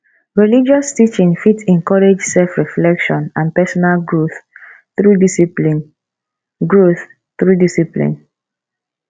religious teaching fit encourage self reflection and personal growth through discpline growth through discpline